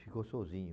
Ficou sozinho.